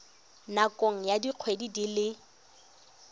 nakong ya dikgwedi di le